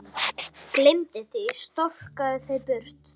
Gleymi því, stroka það burt.